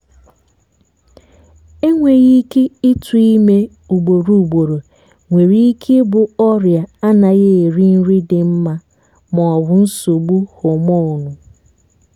enweghị ike ịtụ́ ime ugboro ugboro nwere ike ị bụ ọrịa anaghị eri nri dị mma maọbu nsogbu homonu